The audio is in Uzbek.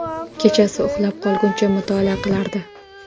Kechasi uxlab qolguncha mutolaa qilardi.